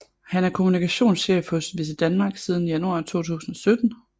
Han er kommunikationschef hos VisitDenmark siden januar 2017